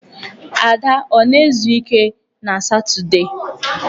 Ada ọ na-ezu ike na Satọọdee?